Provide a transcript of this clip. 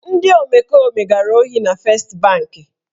Ndị omekome gara ohi na Fest banki.